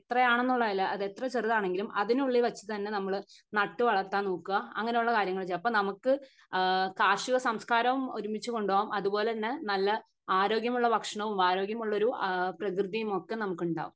എത്ര ആണെന്നുള്ളതല്ല അത് എത്ര ചെറുതാണെങ്കിലും അതിനുള്ളിൽ വെച്ച് തന്നെ നമ്മള് നട്ട് വളർത്താൻ നോക്കെ അങ്ങിനെ ഉള്ള കാര്യങ്ങൾ ഒക്കെ അപ്പൊ നമുക്ക് ആഹ് കാർഷിക സംസ്കാരവും ഒരുമിച്ച് കൊണ്ടൊവാം അതുപോലെ തന്നെ നല്ല ആരോഗ്യമുള്ള ഭക്ഷണവും ആരോഗ്യമുള്ളൊരു പ്രകൃതിയും ഒക്കെ നമുക്കുണ്ടാകും